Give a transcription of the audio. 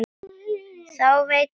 Þá veit maður það.